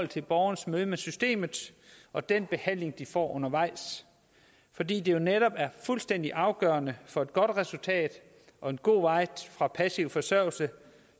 til borgernes møde med systemet og den behandling de får undervejs fordi det jo netop er fuldstændig afgørende for et godt resultat og en god vej fra passiv forsørgelse